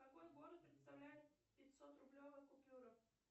какой город представляет пятьсот рублевая купюра